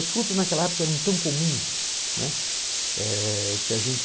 As frutas naquela época eram tão comuns, né, eh que a gente...